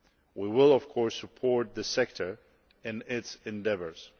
We will of course support the sector in its endeavours.